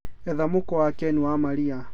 etha mũkwa wa ken wa maria